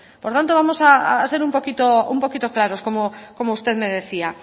por tanto vamos a ser un poquito claros como usted me decía